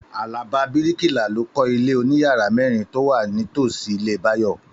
Àlàbá bíríkìlà ló kọ ilé oníyàrá mẹ́rin tó wà ní tòsí ilé Báyọ̀